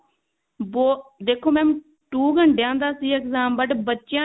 ਬਹੁਤ ਦੇਖੋ mam two ਘੰਟਿਆਂ ਦਾ ਸੀ exam ਮਤਲਬ ਬੱਚਿਆਂ ਨੇ